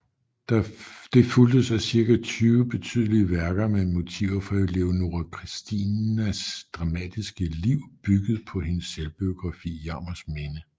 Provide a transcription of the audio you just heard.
Det fulgtes af cirka 20 betydelige værker med motiver fra Leonora Christinas dramatiske liv bygget på hendes selvbiografi Jammers Minde